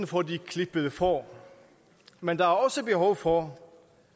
for de klippede får men der er også behov for